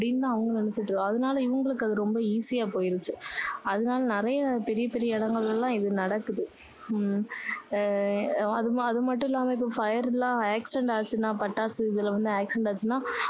அப்படின்னு தான் அவங்க நினைச்சுட்டு இருக்காங்க. அதுனால இவங்களுக்கு அது ரொம்ப easy யா போயிருச்சு. அதுனால நிறைய பெரிய பெரிய இடங்களில எல்லாம் இது நடக்குது. அஹ் உம் அது மட்டும் இல்லாம இப்போ fire எல்லாம் accident ஆச்சுன்னா பட்டாசு இதுல வந்து accident ஆச்சுன்னா